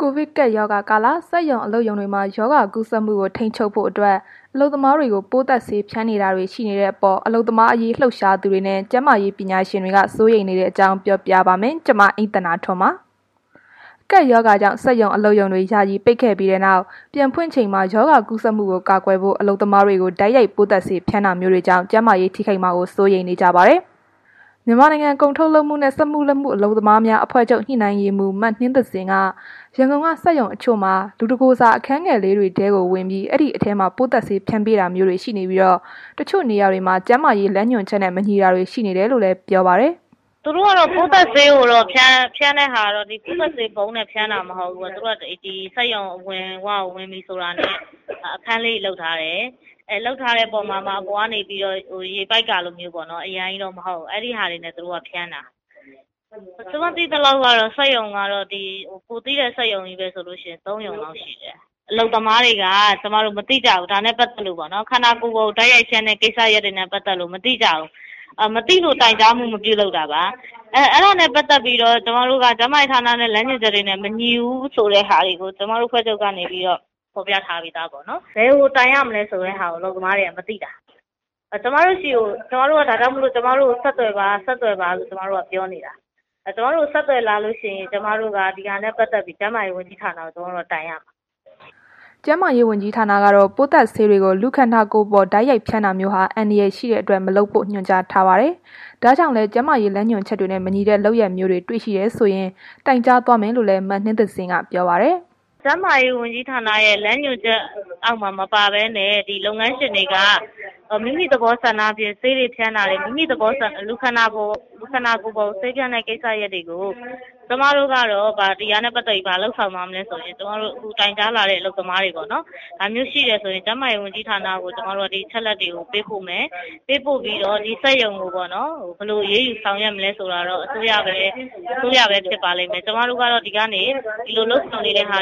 ကိုဗစ်ကပ်ရောဂါကာလ စက်ရုံအလုပ်ရုံတွေမှာ ရောဂါကူးစက်မှုကို ထိန်းချုပ်ဖို့အတွက် အလုပ်သမားတွေကို ပိုးသတ်ဆေးပက်ဖျန်းနေတာတွေ ရှိနေတဲ့အပေါ် အလုပ်သမားရေး လှုပ်ရှားသူတွေနဲ့ ကျန်းမာရေးပညာရှင်တွေ စိုးရိမ်နေတဲ့အကြောင်းကို ဗွီအိုအေမြန်မာပိုင်း သတင်းထောက် မအိမ့်သန္တာထွန်းက ပြောပြပေးပါမယ်။ ကပ်ရောဂါကြောင့် စက်ရုံအလုပ်ရုံတွေ ယာယီပိတ်ခဲ့ပြီးနောက် ပြန်ဖွင့်ချိန်မှာ ရောဂါကူးစက်မှုကို ကာကွယ်ဖို့ အလုပ်သမားတွေကို တိုက်ရိုက် ပိုးသတ်ဆေးဖျန်းတာမျိုးတွေကြောင့် ကျန်းမာရေး ထိခိုက်မှာ စိုးရိမ်နေကြပါတယ်။ မြန်မာနိုင်ငံ ကုန်ထုတ်လုပ်မှုနဲ့ စက်မှုလက်မှု အလုပ်သမားများ အဖွဲ့ချုပ်ရဲ့ ညှိနှိုင်းရေးမှူး မနှင်းသဇင်က ရန်ကုန်က စက်ရုံတချို့မှာ လူတစ်ကိုယ်စာ အခန်းငယ်လေးတွေထဲကို ဝင်ပြီး အဲ့ဒီထဲမှာ ပိုးသတ်ဆေးဖျန်းပေးတာမျိုးရှိနေပြီး တချို့နေရာတွေမှာ ကျန်းမာရေး လမ်းညွှန်ချက်နဲ့ မညီတာတွေ ရှိနေတယ်လို့လည်း ပြောပါတယ်။ “သူတို့ကတော့ ပိုးသတ်ဆေးကိုတော့ ဖျန်းတာက ပိုးသတ်ဆေးပုံးနဲ့ ဖျန်းတာတော့ မဟုတ်ဘူးပေါ့။ စက်ရုံအဝင်ဝကို ဝင်ပြီဆိုတာနဲ့ အခန်းလေးတွေ လုပ်ထားတယ်။ လုပ်ထားတာမှာမှ အပေါ်ကနေပြီး တော့ ရေပိုက်ကလိုမျိုးပေါ့နော်။ အများကြီးတော့ မဟုတ်ဘူး၊ သူတို့က အဲ့လိုဖျန်းတာ။ ကျမကတော့ ကိုယ်သိတဲ့ စက်ရုံလောက်ဆိုရင်တော့ ၃ ရုံလောက်တော့ ရှိတယ်။ အလုပ်သမားတွေက မသိကြဘူး။ ဒါနဲ့ ပတ်သက်ပြီးတော့ပေါ့နော်။ ခန္ဓာကိုယ်ပေါ်ကို တိုက်ရိုက်ဖျန်းတဲ့ ကိစ္စတွေနဲ့ ပတ်သက်ပြီး မသိကြဘူး။ မသိလို့ တိုင်ကြားမှု မပြုလုပ်တာပါ။ အဲ့တာနဲ့ ပတ်သက်ပြီးတော့ ကျန်းမာရေးဝန်ကြီးဌာနရဲ့ သတ်မှတ်ချက်တွေနဲ့ မညီဘူးဆိုတဲ့ဟာတွေကို ကျမတို့ အဖွဲ့ချုပ်ကနေပြီးတော့ ဖော်ပြထားပြီးသား ပေါ့နော်။ ဘယ်ကို တိုင်ရမလဲဆိုတဲ့ဟာကို လုပ်သမားတွေက မသိတာ၊ ဒါကြောင့်မို့လို့ ကျမတို့ဆီကို ဆက်သွယ်ပါဆိုပြီး ပြောနေတာ။ ကျမတို့ကို ဆက်သွယ်လာလို့ရှိရင် ကျမတို့က ဒါနဲ့ ပတ်သက်ပြီး ကျန်းမာရေး ဝန်ကြီးဌာနကို ကျမတို့က တိုင်ရမယ်။” ကျန်းမာရေးဝန်ကြီးဌာနကတော့ ပိုးသတ်ဆေးတွေကို လူကိုယ်ခန္ဓာပေါ်ကို တိုက်ရိုက် ဖြန်းတာမျိုးဟာ အန္တရာယ်ရှိတဲ့အတွက် မလုပ်ဖို့လည်း ညွှန်ကြားထားပါတယ်။ ဒါကြောင့်လည်း ကျန်းမာရေးလမ်းညွှန်ချက်နဲ့ မညီတဲ့ လုပ်ရပ်မျိုးတွေ တွေ့ရှိတယ်ဆိုရင် တိုင်ကြားသွားမယ်လို့လည်း မနှင်းသဇင်က ပြောပါတယ်။ “ကျန်းမာရေးဝန်ကြီးဌာနရဲ့ လမ်းညွှန်ချက်အောက်မှာ မပါဘဲနဲ့ ဒီလုပ်ငန်းရှင်တွေက မိမိသဘောဆန္ဒနဲ့ ဆေးတွေ ဖျန်းတာတွေ၊ မိမိသဘောဆန္ဒနဲ့ လူခန္ဓာကိုယ်ကို ဆေးဖျန်းတဲ့ ကိစ္စရပ်တွေကို ကျွန်မတို့ကတော့ ဒီဟာနဲ့ ပတ်သက်ပြီး ဘာလုပ်ဆောင်သွားမလဲဆိုရင်၊ တိုင်ကြားလာတဲ့ အလုပ်သမားတွေပေါ့နော်။ ဒါမျိုးရှိတယ်ဆိုရင် ကျန်းမာရေးဝန်ကြီးဌာနကို ကျမတို့က ဒီလို အချက်အလက်တွေ ပေးပို့မယ်။ ပေးပို့ပြီးတော့ ဒီစက်ရုံကိုပေါ့နော်။ ဘယ်လို အရေးယူဆောင်ရွက်မလဲဆိုတာတော့ အစိုးရကပဲ ဖြစ်ပါလိမ့်မယ်။ ကျမတို့က ဒီကနေ ဒီလို ကျန်းမာရေးဝန်ကြီး